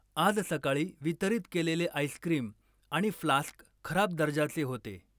आज सकाळी वितरित केलेले आईस्क्रिम आणि फ्लास्क खराब दर्जाचे होते.